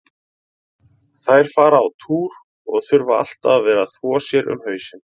Þær fara á túr og þurfa alltaf að vera að þvo sér um hausinn.